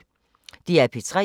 DR P3